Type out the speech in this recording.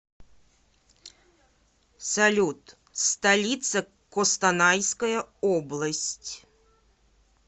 салют столица костанайская область